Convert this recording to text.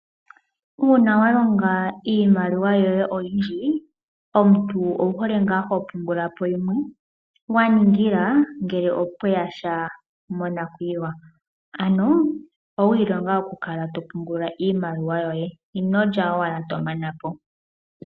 Uuna walonga iimaliwa yoye oyindji omuntu owuhole ngaa hopungula po yimwe waningila ngele opweyasha monakuyiwa; ano owiilonga oku kala to pungula iimaliwa yoye inolya owala tomana po.